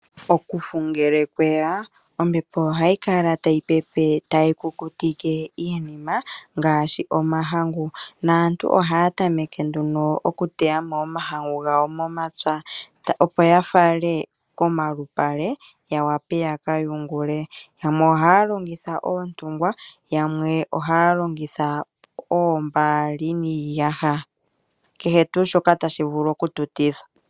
Okufu ngele mweya ombepo ohayi kala tayi pepe tayi kukutike iinima ngaashi omahangu, naantu ohaya tameke nduno okuteya mo iilya momapya opo ya fale komalupale ya wape ya ka yungule yamwe ohaya longitha oontungwa yamwe ohaya oombaali niiyaha kehe tuu shoka tashi tu vulu oku tu tithwa.